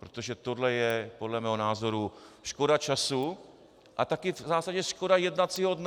Protože tohle je podle mého názoru škoda času a také v zásadě škoda jednacího dne.